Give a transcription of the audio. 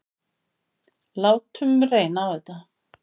Látum reyna á þetta.